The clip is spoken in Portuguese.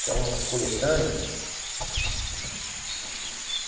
Que é uma coletânea.